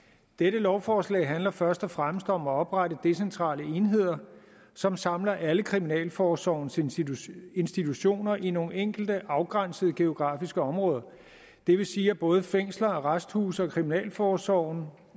dette lovforslag handler først og fremmest om at oprette decentrale enheder som samler alle kriminalforsorgens institutioner institutioner i nogle enkelte afgrænsede geografiske områder det vil sige at både fængsler arresthuse og kriminalforsorgen